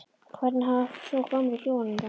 Hvernig hafa svo gömlu hjónin það?